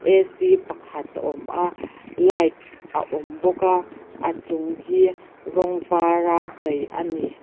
pakhat a awm a light a awm bawk a a chung hi rawng var a chei a ni.